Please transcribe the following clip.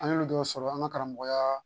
An y'olu dɔw sɔrɔ an ka karamɔgɔya